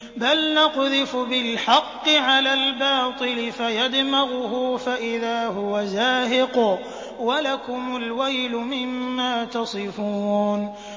بَلْ نَقْذِفُ بِالْحَقِّ عَلَى الْبَاطِلِ فَيَدْمَغُهُ فَإِذَا هُوَ زَاهِقٌ ۚ وَلَكُمُ الْوَيْلُ مِمَّا تَصِفُونَ